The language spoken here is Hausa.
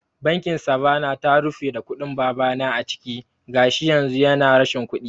Bankin Savanna ta rufe da kuɗin babana a ciki, gashi yanzu yana rashin kuɗi